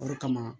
O de kama